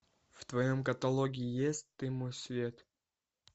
в твоем каталоге есть ты мой свет